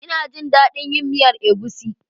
Ina jin dadin yin miyan egusi.